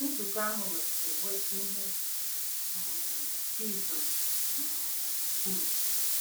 Nzukọ ahụ mesịrị nweta ihe um Jizọs um kwuru.